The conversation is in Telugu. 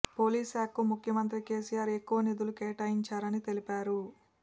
పోలీస్ శాఖకు ముఖ్యమంత్రి కేసీఆర్ ఎక్కువ నిధులు కేటాయించారని తెలిపారు